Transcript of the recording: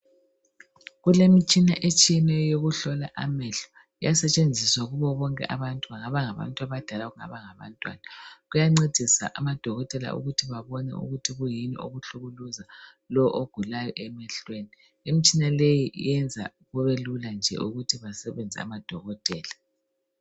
Kulemitshina etshiyeneyo yokuhlola amehlo iyasetshenziswa kubo bonke abantu kungaba ngabantu abadala kungaba ngabantwana kuyangcedisa odokotela ukuthi bebone ukuthi kwini okuhlukuluza laba abagulayo emhlweni lokhu kwenza kube lula ukuthi basebenze odokotela